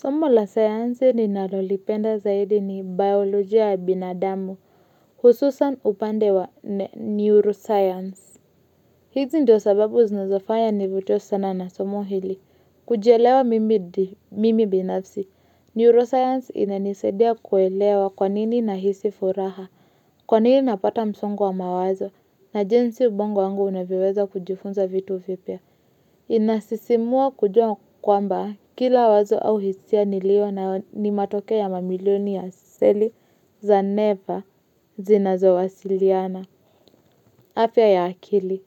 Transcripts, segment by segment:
Somo la sayansi ninalolipenda zaidi ni biolojia ya binadamu, hususan upande wa neuroscience. Hizi ndio sababu zinazafanya nivuto sana na somo hili. Kujielewa mimi binafsi, neuroscience ina nisedia kuelewa kwanini nahisi furaha, kwanini napata msungu wa mawazo, na jinsi ubongo angu unaviweza kujifunza vitu vipia. Inasisimua kujua kwamba kila wazo au hisia nilio nayo ni matokeo ya mamilioni ya seli za neva zinazowasiliana afya ya akili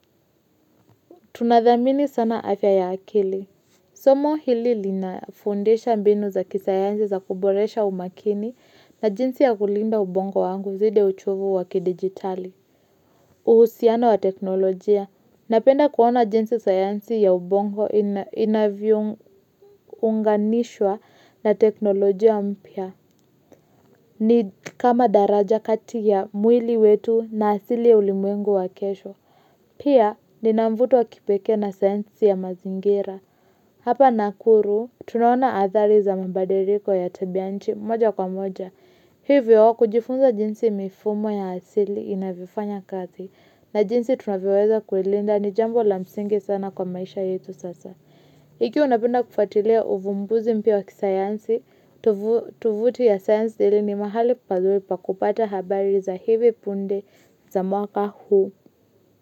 Tunadhamini sana afya ya akili Somo hili linafundisha mbinu za kisayansi za kuboresha umakini na jinsi ya kulinda ubongo wangu zide uchovu wakidigitali uhusiano wa teknolojia Napenda kuona jinsi sayansi ya ubongo inavyounganishwa na teknolojia mpya. Ni kama daraja kati ya mwili wetu na asili ya ulimwengu wa kesho. Pia, nina mvuto wa kipekee na sayansi ya mazingira. Hapa nakuru, tunaona adhari za mabadiliko ya tabianti moja kwa moja. Hivyo wako kujifunza jinsi mifumo ya asili inavifanya kazi na jinsi tunaviweza kuilinda ni jambo la msinge sana kwa maisha yetu sasa. Pia napenda kufuatilia uvumbuzi mpya wa kisayansi, tovuti ya sayansi hili ni mahali paduri pakupata habari za hivi punde za mwaka huu.